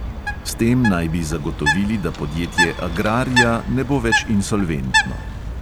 S tem naj bi zagotovili, da podjetje agraria ne bo več insolventno.